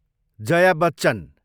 Jaya Bachchan